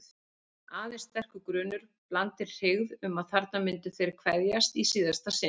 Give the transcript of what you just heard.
Aðeins sterkur grunur, blandinn hryggð, um að þarna myndu þeir kveðjast í síðasta sinn.